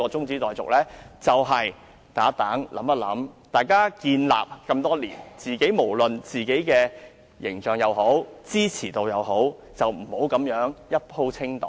議員努力經營多年，無論是自己的形象還是支持度，不應這樣"一鋪清袋"。